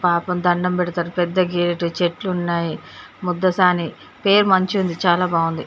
పాపం దండం పెడ్తరు పెద్ద గేటు చెట్లు ఉన్నాయి ముద్దసాని పేరు మంచిగుంది చాలా బాగుంది .